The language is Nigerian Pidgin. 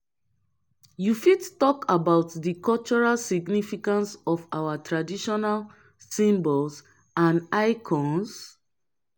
you fit talk about di cultural significance of our traditional symbols and icons?